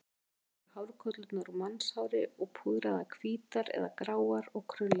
Upprunalega voru hárkollurnar úr mannshári og púðraðar hvítar eða gráar og krullaðar.